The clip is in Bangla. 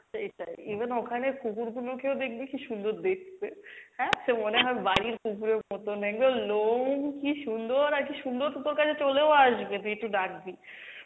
সেইটাই, even ওখানে কুকুর গুনোকেও দেখবি কী সুন্দর দেখতে হ্যাঁ সে মনে হয় বাড়ির কুকুরের মতন একদম লোম কী সুন্দর আরকি সুন্দর তো~ তোর কাছে চলেও আসবে তুই একটু ডাকবি,